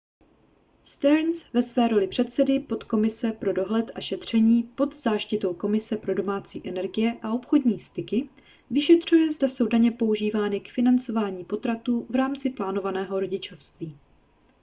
stearns ve své roli předsedy podkomise pro dohled a šetření pod záštitou komise pro domácí energie a obchodní styky vyšetřuje zda jsou daně používány k financování potratů v rámci plánovaného rodičovství